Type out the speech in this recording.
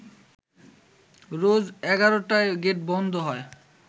রোজ এগারোটায় গেট বন্ধ হয়